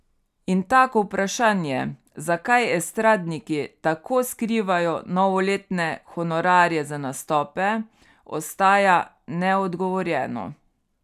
In tako vprašanje, zakaj estradniki tako skrivajo novoletne honorarje za nastope, ostaja neodgovorjeno.